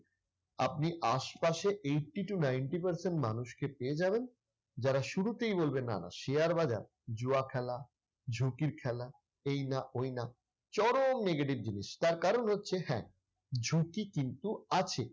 আপনি আশপাশে eighty to ninety percent মানুষকে পেয়ে যাবেন যারা শুরুতেই বলবে না না, শেয়ার বাজার জুয়া খেলা, ঝুঁকির খেলা, এই না, ওই না। চরম negative জিনিস। তার কারণ হচ্ছে হ্যাঁ, ঝুঁকি কিন্তু আছে।